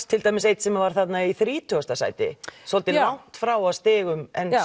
til dæmis einn sem var í þrítugasta sæti svolítið langt frá að stigum